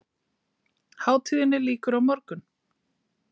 Hátíðinni lýkur á morgun